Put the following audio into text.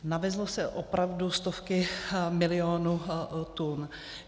Navezly se opravdu stovky miliony tun.